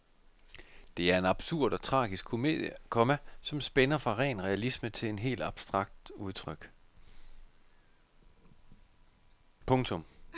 Det er en absurd og tragisk komedie, komma som spænder fra ren realisme til et helt abstrakt udtryk. punktum